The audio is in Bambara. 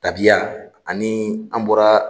Tabiya ani an bɔra